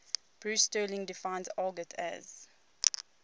bruce sterling defines argot as